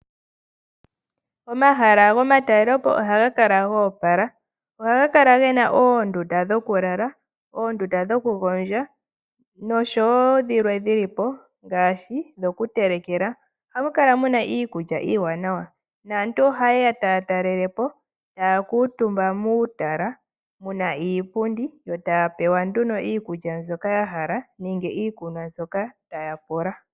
Omahala gomatalelopo ohaga kala ga opala. Ohamukala oondunda dhokulala, dhokugondja nosho wo dhimwe dhili po ngaashi dhokutelekela. Ohamu kala iikulya iiwanawa, naantu ohayeya taya talele po taa kuutumba muutala puna iitaafula niipundi , e taya pewa nduno iikulya mbyoka ya hala nenge iikunwa mbyoka taya pula.